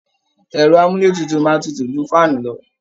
Ẹ̀rọ àmúlétutu máa tutù ju fáànù lọ